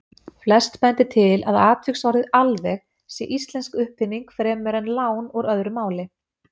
Flest bendir til að atviksorðið alveg sé íslensk uppfinning fremur en lán úr öðru máli.